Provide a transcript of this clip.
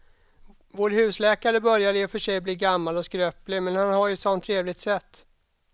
Vår husläkare börjar i och för sig bli gammal och skröplig, men han har ju ett sådant trevligt sätt!